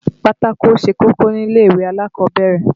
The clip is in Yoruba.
Pátákó ṣe kókó nílè ìwé alákọ̀ọ́bẹ̀rẹ̀